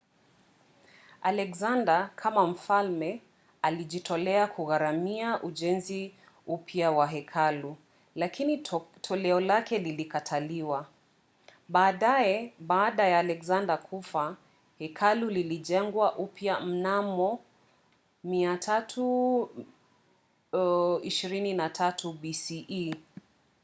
alexander kama mfalme alijitolea kugharimia ujenzi upya wa hekalu lakini toleo lake lilikataliwa. baadaye baada ya alexander kufa hekalu lilijengwa upya mnamo 323 bce